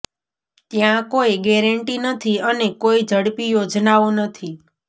ત્યાં કોઈ ગેરંટી નથી અને કોઈ ઝડપી યોજનાઓ નથી